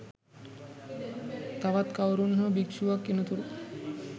තවත් කවුරුන් හෝ භික්ෂුවක් එනතුරු